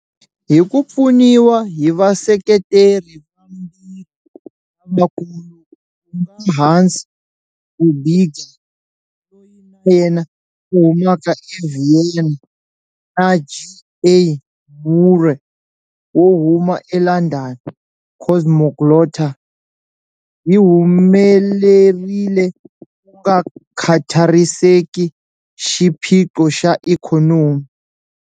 Hi ku pfuniwa hi vaseketeri vambirhi lavakulu, ku nga Hans Hörbiger, loyi na yena a humaka eVienna, na G.A. Moore wo huma eLondon, Cosmoglotta yi humelerile ku nga khathariseki xiphiqo xa ikhonomi.